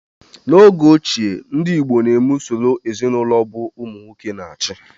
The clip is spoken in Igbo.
N'oge ochie, ndị igbo na-eme usoro ezinụlọ ọbụ ụmụ nwoke na-achị